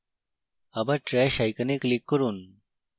আবার trash icon click করুন